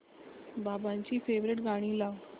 बाबांची फेवरिट गाणी लाव